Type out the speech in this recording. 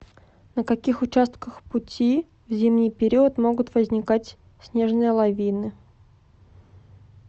на каких участках пути в зимний период могут возникать снежные лавины